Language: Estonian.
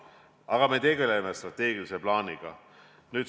Aga me tegeleme strateegilise plaaniga.